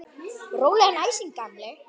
Rólegan æsing, gamli!